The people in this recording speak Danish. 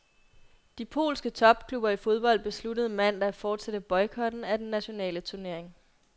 De polske topklubber i fodbold besluttede mandag at fortsætte boykoten af den nationale turnering.